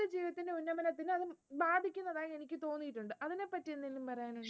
ഉന്നമനത്തിനു അത് ബാധിക്കുന്നതായി എനിക്ക് തോന്നിയിട്ടുണ്ട്. ഇതിനെപ്പറ്റി എന്തെങ്കിലും പറയാനുണ്ടോ?